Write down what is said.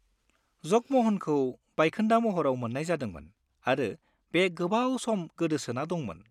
जग म'हनखौ बायखोन्दा महराव मोन्नाय जादोंमोन आरो बे गोबाव सम गोदोसोना दंमोन ।